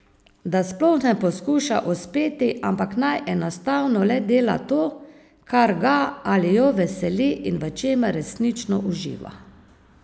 Da sploh ne poskuša uspeti, ampak naj enostavno le dela to, kar ga ali jo veseli in v čemer resnično uživa.